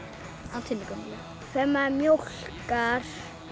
á Tinnu gömlu þegar maður mjólkar